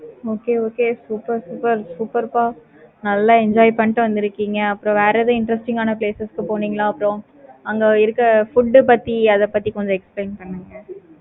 okay okay super super super ப நல்ல enjoy பண்ணிட்டு வந்துருக்கீங்க அப்பறம் வேற என்ன interesting ஆனா places க்கு போனீங்களா அங்க இருக்க food ஆஹ் பத்தி அத பத்தி கொஞ்சம் explain பண்ணுங்க.